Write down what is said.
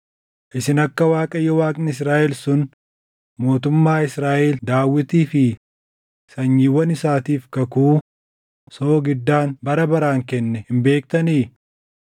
Isin akka Waaqayyo Waaqni Israaʼel sun mootummaa Israaʼel Daawitii fi sanyiiwwan isaatiif kakuu soogiddaan bara baraan kenne hin beektanii?